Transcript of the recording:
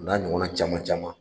O n'a ɲɔgɔn na caman caman